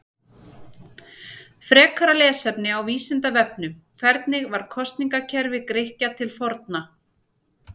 Frekara lesefni á Vísindavefnum: Hvernig var kosningakerfi Grikkja til forna?